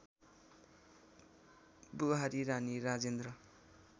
बुहारी रानी राजेन्द्र